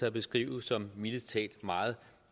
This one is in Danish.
at beskrive som mildest talt meget